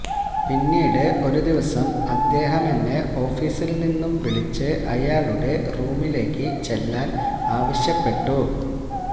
പിന്നീട് ഒരു ദിവസം അദ്ദേഹമെന്നെ ഓഫീസില് നിന്നും വിളിച്ച് അയാളുടെ റൂമിലേക്ക് ചെല്ലാന് ആവശ്യപ്പെട്ടു